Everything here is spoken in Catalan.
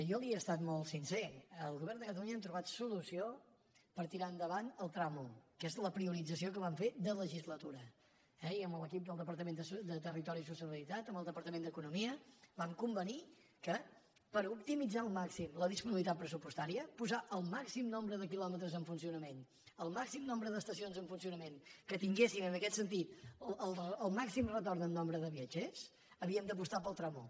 jo li he estat molt sincer el govern de catalunya hem trobat solució per tirar endavant el tram un que és la priorització que vam fer de legislatura eh i amb l’equip del departament de territori i sostenibilitat amb el departament d’economia vam convenir que per optimitzar al màxim la disponibilitat pressupostària posar el màxim nombre de quilòmetres en funcionament el màxim nombre d’estacions en funcionament que tinguessin en aquest sentit el màxim retorn en nombre de viatgers havíem d’apostar pel tram un